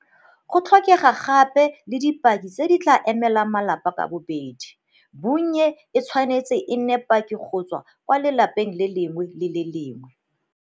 Go tlhokega gape le dipaki tse di tla emelang malapa ka bobedi, bonnye e tshwanetse e nne paki go tswa kwa lapeng le lengwe le le lengwe.